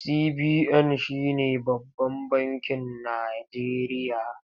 CBN shi ne babban bakin Najeriya.